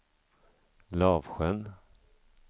Lavsjön